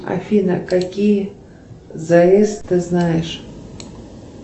афина какие завесы ты знаешь